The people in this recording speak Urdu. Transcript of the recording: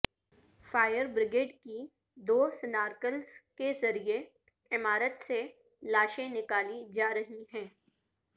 فائر بریگیڈ کی دو سنارکلز کے ذریعے عمارت سے لاشیں نکالی جا رہی ہیں